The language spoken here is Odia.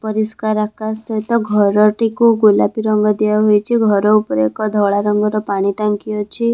ପରିଷ୍କାର ଆକାଶ ସହିତ ଘରଟିକୁ ଗୋଲାପୀ ରଙ୍ଗ ଦିଆହୋଇଛି ଘର ଉପରେ ଏକ ଧଳା ରଙ୍ଗର ପାଣି ଟାଙ୍କି ଅଛି ।